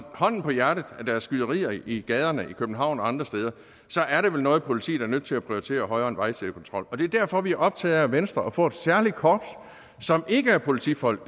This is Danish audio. hånden på hjertet er skyderier i gaderne i københavn og andre steder er det vel noget politiet er nødt til at prioritere højere end vejsidekontrol det er derfor vi er optaget af i venstre at få et særligt korps som ikke er politifolk